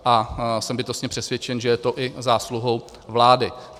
A jsem bytostně přesvědčen, že je to i zásluhou vlády.